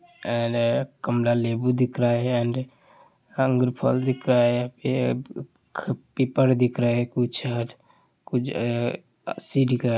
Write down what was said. एले कमला लेबू दिख रहा है एण्ड अंगूर फल दिखा रहा है यहाँ पे पीपर दिख रहा है कुछ दिख रहा --